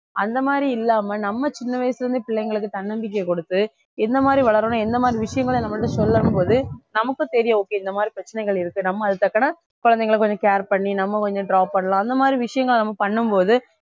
அந்த மாதிரி இல்லாம நம்ம சின்ன வயசுல இருந்து பிள்ளைங்களுக்கு தன்னம்பிக்கை கொடுத்து எந்த மாதிரி வளரணும் எந்த மாதிரி விஷயங்களை நம்ம கிட்ட சொல்லும் போது நமக்கும் தெரியும் okay இந்த மாதிரி பிரச்சனைகள் இருக்கு நம்ம அதுக்கு தக்கன குழந்தைகளை கொஞ்சம் care பண்ணி நம்ம கொஞ்சம் drop பண்ணலாம் அந்த மாதிரி விஷயங்கள் நம்ம பண்ணும் போது